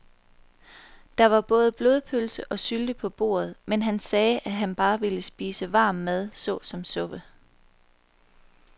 Der var både blodpølse og sylte på bordet, men han sagde, at han bare ville spise varm mad såsom suppe.